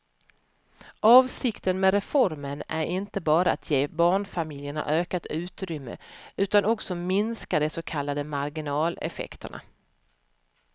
Avsikten med reformen är inte bara att ge barnfamiljerna ökat utrymme utan också minska de så kallade marginaleffekterna.